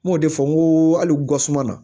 N m'o de fɔ n ko hali wusunna